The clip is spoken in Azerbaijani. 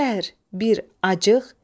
Qəhr, bir, acıq.